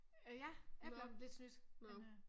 Øh ja jeg er bleven lidt snydt men øh